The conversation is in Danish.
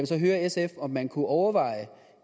så høre sf om man kunne overveje